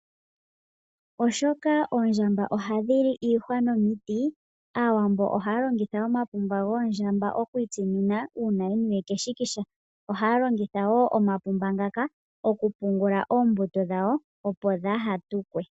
Shoka oondjamba ohadhi li iihwa nomiti, Aawambo ohaya longitha omapumba goondjamba okwiitsinina uuna yeniwe keshikisha. Ohayedhi longitha wo Omapumba okupungula oombuto dhawo opo dhaatukwe.